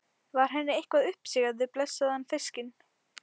Var henni eitthvað uppsigað við blessaðan fiskinn?